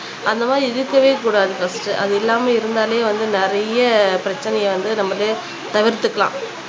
அந்த மாதிரி இருக்கவே கூடாது பர்ஸ்டு அது இல்லாமல் இருந்தாலே வந்து நிறைய பிரச்சனையை வந்து நம்மளே தவிர்த்துக்கலாம்